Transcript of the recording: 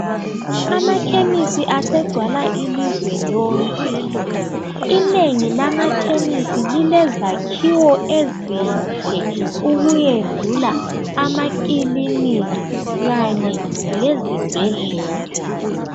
Ama khemisi asegcwala ilizwe lonke inengi lamakhemisi lilezakhiwo ezinhle ukudlula amakiliniki kanye lezibhedlela.